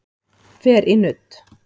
Fer í nudd